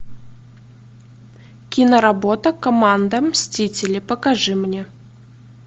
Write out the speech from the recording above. киноработа команда мстителей покажи мне